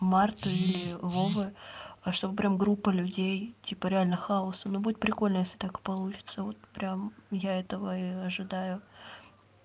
марта или вовы а чтобы прям группа людей типа реально хаоса ну будет прикольно если так получится вот прям я этого и ожидаю